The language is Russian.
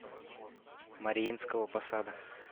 мариинского посада